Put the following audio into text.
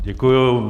Děkuji.